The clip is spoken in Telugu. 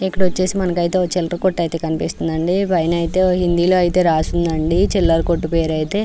ఇక్కడ వొచ్చేసి మనకి ఐతే చిల్లర కొట్టు కనిపిస్తుంది అండి పైన ఐతే హిందీలో ఐతే రాసి ఉందండి చిల్లర కొట్టు పేరు ఐతే.